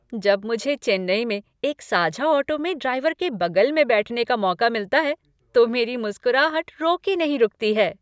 जब मुझे चेन्नई में एक साझा ऑटो में ड्राइवर के बगल में बैठने का मौका मिलता है तो मेरी मुस्कुराहट रोके नहीं रुकती है।